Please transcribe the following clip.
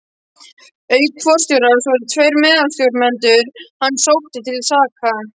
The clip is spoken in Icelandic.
Auk forstjórans voru tveir meðstjórnendur hans sóttir til saka.